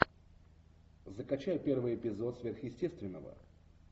закачай первый эпизод сверхъестественного